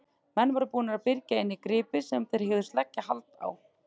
Menn voru búnir að byrgja inni gripi sem þeir hugðust leggja hald á.